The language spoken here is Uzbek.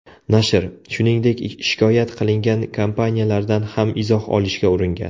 Nashr, shuningdek shikoyat qilingan kompaniyalardan ham izoh olishga uringan.